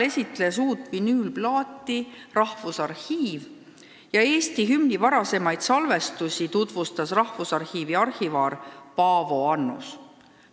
Seda vinüülplaati esitles Rahvusarhiiv ja Eesti hümni varasemaid salvestusi tutvustas Rahvusarhiivi arhivaar Paavo Annus.